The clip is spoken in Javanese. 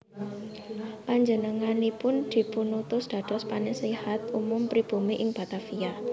Panjenenganipun dipunutus dados Penasihat Umum Pribumi ing Batavia